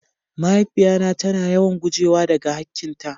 Mahaifiya na ta na yawan gujewa da ga hakin ta.